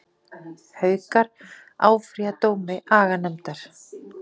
Haukar áfrýja dómi aganefndar